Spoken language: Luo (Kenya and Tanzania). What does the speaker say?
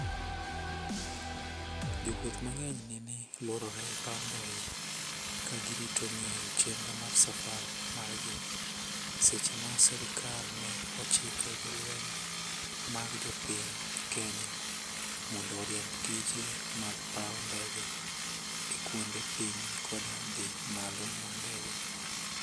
jo wuoth mang'eny nene luorore e paw ndege ka girito ng'eyo chenro mar safar margi, e seche ma serikal ne ochiko jolweny mag jopiny Kenya (KDF) mondo oriemb tije mag paw ndege e kuonde piyo koda dhi malo mag ndege